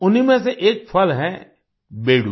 उन्हीं में से एक फल है बेडू